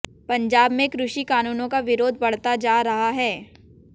पंजाब में कृषि कानूनों का विरोध बढ़ता जा रहा है